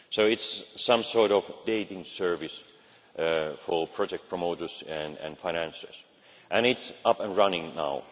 So it is some sort of dating service for project promoters and financiers, and it is up and running now.